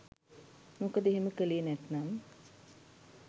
මොකද එහෙම කලේ නැත්නම්